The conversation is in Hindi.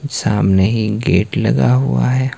सामने ही गेट लगा हुआ है।